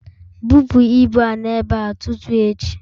Bupu ibu a n'ebe a tutu echi!